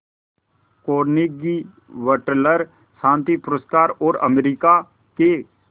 Carnegie वटलर शांति पुरस्कार और अमेरिका के